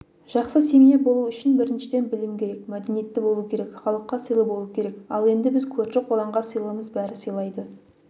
жақсы семья болу үшін біріншіден білім керек мәдениетті болу керек халыққа сыйлы болу керек ал енді біз көрші-қолаңға сыйлымыз бәрі сыйлайды